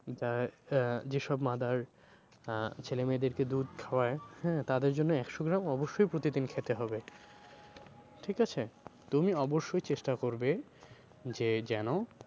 যা~ আহ যে সব mother আহ ছেলে মেয়েদেরকে দুধ খাওয়ায় হ্যাঁ? তাদের জন্য একশো গ্রাম অবশ্যই প্রতি দিন খেতে হবে ঠিক আছে? তুমি অব্যশই চেষ্টা করবে যে যেন